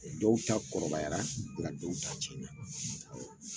Dɔw ta kɔrɔbayara nga dɔw ta cɛna